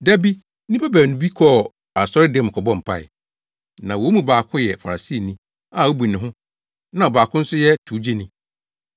“Da bi nnipa baanu bi kɔɔ asɔredan mu kɔbɔɔ mpae. Na wɔn mu baako yɛ Farisini a obu ne ho, na ɔbaako no nso yɛ towgyeni.